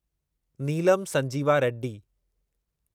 Neelam Sanjiva Reddy